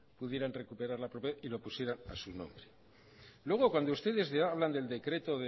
pudieran recuperar la propiedad y lopusieran a su nombre luego cuando ustedes le hablan del decreto